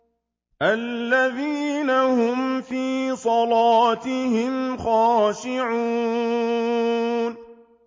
الَّذِينَ هُمْ فِي صَلَاتِهِمْ خَاشِعُونَ